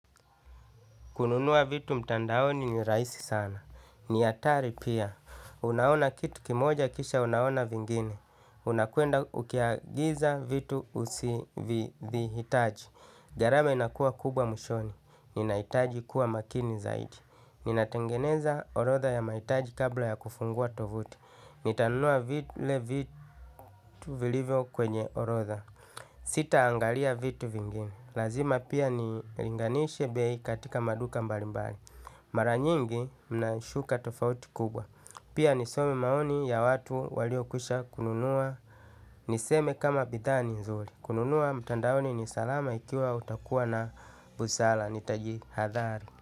Kununua vitu mtandaoni ni rahisi sana. Ni hatari pia. Unaona kitu kimoja kisha unaona vingine. Unakuenda ukiagiza vitu usivihitaji. Gharama inakua kubwa mwishoni. Ninahitaji kuwa makini zaidi. Ninatengeneza orodha ya mahitaji kabla ya kufungua tovuti. Nitanunua vile vitu vilivyo kwenye orodha. Sita angalia vitu vingine. Lazima pia nilinganishe bei katika maduka mbalimbali. Mara nyingi naishuka tofauti kubwa. Pia nisome maoni ya watu waliokwisha kununua niseme kama bidhaa ni nzuri. Kununua mtandaoni ni salama ikiwa utakuwa na busara. Nitajihadhari.